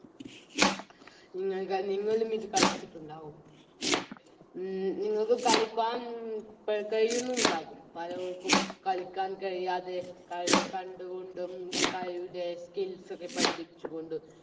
നിങ്ങൾക്ക് നിങ്ങളും ഇത് കളിച്ചിട്ടുണ്ടാവും ഉം നിങ്ങൾക്ക് കളിക്കാൻ തെ കയ്യുന്നുമുണ്ടാകും പലർക്കും കളിക്കാൻ കഴിയാതെ കളി കണ്ടുകൊണ്ടും കളിയുടെ Skills ഒക്കെ പഠിപ്പിച്ചുകൊണ്ടും